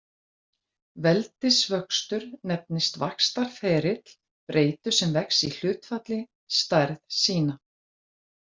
Veldisvöxtur nefnist vaxtarferill breytu sem vex í hlutfalli stærð sína.